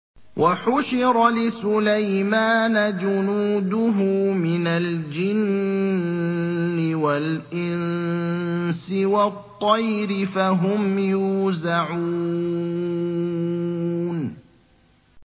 وَحُشِرَ لِسُلَيْمَانَ جُنُودُهُ مِنَ الْجِنِّ وَالْإِنسِ وَالطَّيْرِ فَهُمْ يُوزَعُونَ